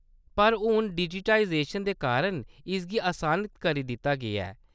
पर हून डिजिटाइजेशन दे कारण इसगी असान करी दित्ता गेआ ऐ।